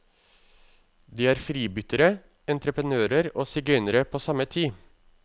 De er fribyttere, entreprenører og sigøynere på samme tid.